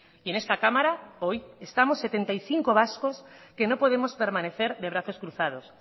y en esta cámara hoy estamos setenta y cinco vascos que no podemos permanecer de brazos cruzados